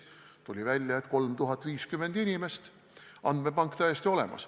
Tuli välja, et on 3050 inimest, andmepank on täiesti olemas.